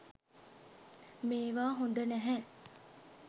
මේවා හොද නැහැ.